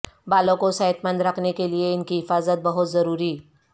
بالوں کوصحت مند رکھنے کیلئے ان کی حفاظت بہت ضروری